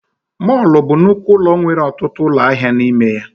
Mọlụ bụ nnukwu ụlọ nwere ọtụtụ ụlọ ahịa na ime ya